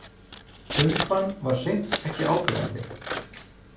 Bumban var hreint ekki áberandi.